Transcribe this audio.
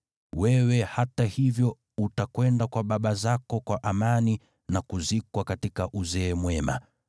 Wewe, hata hivyo utakwenda kwa baba zako kwa amani na kuzikwa katika uzee mwema.